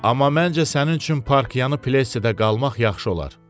Amma məncə sənin üçün parkyanı Plessidə qalmaq yaxşı olar.